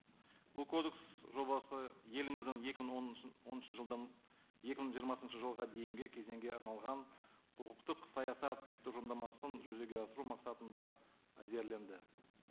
бұл кодекс жобасы еліміздің екі мың он оныншы жылдан екі мың жиырмасыншы жылға дейінгі кезеңге арналған құқықтық саясат тұжырымдамасын жүзеге асыру мақсатында әзірленді